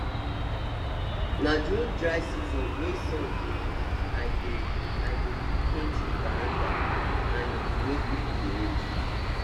na during dry season wey sun dey i dey i dey repaint the veranda iron wey people dey hold